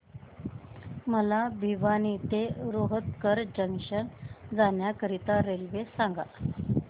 मला भिवानी ते रोहतक जंक्शन जाण्या करीता रेल्वे सांगा